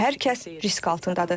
Hər kəs risk altındadır.